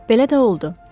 Belə də oldu.